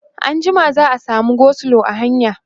e anjima za'a samu go slow a hanya